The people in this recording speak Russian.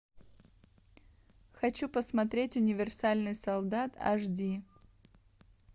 хочу посмотреть универсальный солдат аш ди